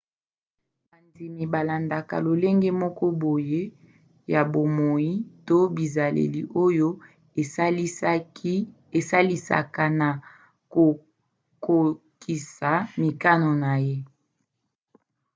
bandimi balandaka lolenge moko boye ya bomoi to bizaleli oyo esalisaka na kokokisa mikano na ye